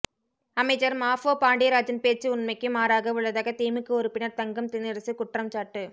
அமைச்சர் மாஃபா பாண்டியராஜன் பேச்சு உண்மைக்கு மாறாக உள்ளதாக திமுக உறுப்பினர் தங்கம் தென்னரசு குற்றம்சாட்டு